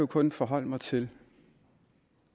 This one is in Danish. kun forholde mig til